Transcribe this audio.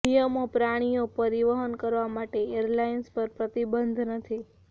નિયમો પ્રાણીઓ પરિવહન કરવા માટે એરલાઇન્સ પર પ્રતિબંધ નથી